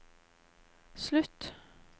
slutt